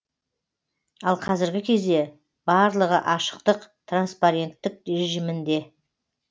ал қазіргі кезде барлығы ашықтық транспаренттік режимінде